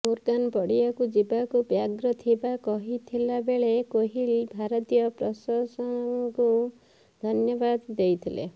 Morgan ପଡ଼ିଆକୁ ଯିବାକୁ ବ୍ୟଗ୍ର ଥିବା କହିଥିଲା ବେଳେ କୋହଲି ଭାରତୀୟ ପ୍ରଶଂସକଙ୍କୁ ଧନ୍ୟବାଦ ଦେଇଥିଲେ